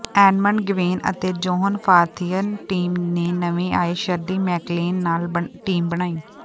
Edmund Gwenn ਅਤੇ John Forsythe team ਨੇ ਨਵੇਂ ਆਏ ਸ਼ਰਲੀ ਮੈਕਲੇਨ ਨਾਲ ਟੀਮ ਬਣਾਈ